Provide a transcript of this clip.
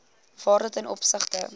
waarde ten opsigte